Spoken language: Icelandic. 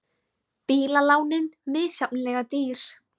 Bílalánin misjafnlega dýr